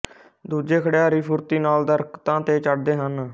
ਦੂਜੇ ਖਿਡਾਰੀ ਫੁਰਤੀ ਨਾਲ ਦਰਖਤਾਂ ਤੇ ਚੜ੍ਹਦੇ ਹਨ